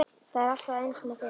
Það er alltaf eins með þig!